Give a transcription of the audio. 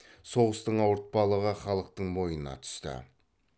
соғыстың ауыртпалығы халықтың мойнына түсті